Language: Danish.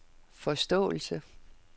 forståelse